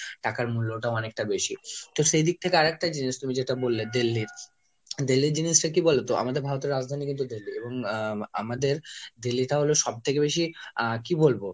টাকার মূল্যটাও অনেকটা বেশি। তো সেদিক থেকে আর একটা জিনিস তুমি যেটা বললে Delhi। Delhi র জিনিসটা কি বলতো? আমাদের ভারতের রাজধানী কিন্তু Delhi এবং আহ আমাদের Delhi টা হলো সবথেকে বেশি আহ কি বলবো